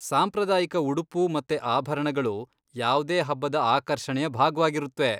ಸಾಂಪ್ರದಾಯಿಕ ಉಡುಪು ಮತ್ತೆ ಆಭರಣಗಳು ಯಾವ್ದೇ ಹಬ್ಬದ ಆಕರ್ಷಣೆಯ ಭಾಗ್ವಾಗಿರುತ್ವೆ.